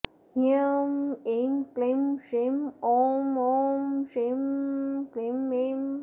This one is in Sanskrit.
ह्रां ऐं क्लीं श्रीं ॐ ॐ ॐ श्रीं क्लीं ऐं